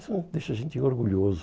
Isso deixa a gente orgulhoso.